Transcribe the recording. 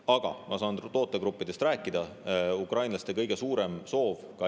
Aga ma saan praegu rääkida tootegruppidest ja ukrainlaste kõige suuremast soovist.